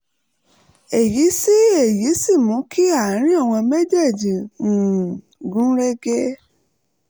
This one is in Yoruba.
èyí sì èyí sì mú kí àárín àwọn méjèèjì um gún régé